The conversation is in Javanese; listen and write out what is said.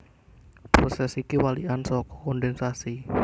Prosès iki walikan saka kondhènsasi